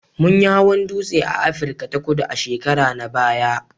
Mun yi hawan dutse a Afirka ta Kudu a shekara na baya